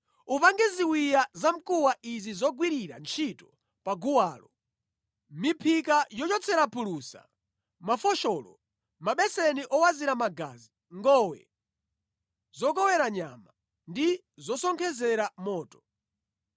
Upange ziwiya zamkuwa izi zogwirira ntchito pa guwalo: miphika yochotsera phulusa, mafosholo, mabeseni owazira magazi, ngowe zokowera nyama ndi zosonkhezera moto.